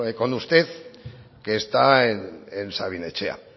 con usted que está en sabin etxea